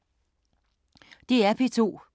DR P2